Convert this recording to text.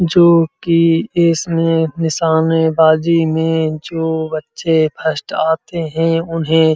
जोकि इसमें निशानेबाजी में जो बच्चे फर्स्ट आते हैं उन्हें --